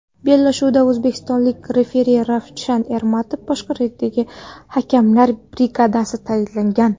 Bellashuvga o‘zbekistonlik referi Ravshan Ermatov boshqaruvidagi hakamlar brigadasi tayinlangan.